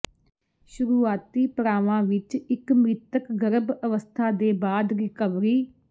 ਸ਼ੁਰੂਆਤੀ ਪੜਾਵਾਂ ਵਿਚ ਇਕ ਮ੍ਰਿਤਕ ਗਰਭ ਅਵਸਥਾ ਦੇ ਬਾਅਦ ਰਿਕਵਰੀ